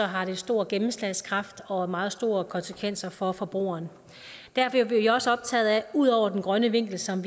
har det stor gennemslagskraft og meget store konsekvenser for forbrugerne derfor er vi også optaget af at ud over den grønne vinkel som